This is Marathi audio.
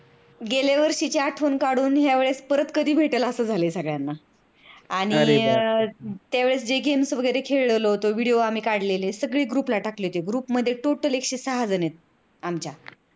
गेल्यावर्षीची आठवण काढून परत या वेडेस कधी भेटेल अस झालय सगळ्यांनाआणि त्याव्लेस जे games वगैरे खेळलेलो होतो, videos आम्ही काढलेले ते सगळे group ला टाकले होते. group मधे total एकशे सहा जण आहेत आमच्या